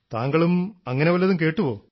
താങ്കളും അങ്ങനെ വല്ലതും കേട്ടുവോ